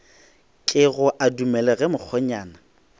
kego a dumele ge mokgonyana